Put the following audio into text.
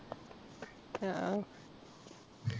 ആഹ്